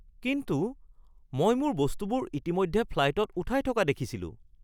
কিন্তু মই মোৰ বস্তুবোৰ ইতিমধ্যে ফ্লাইতত উঠাই থকা দেখিছিলোঁ।